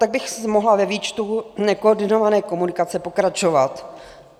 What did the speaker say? Tak bych mohla ve výčtu nekoordinované komunikace pokračovat.